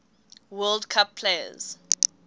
world cup players